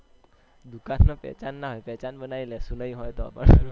દુકાન માં પેહચાન ના હોય પેહચાન બનાઈ લઈશું નહી હોય તો પણ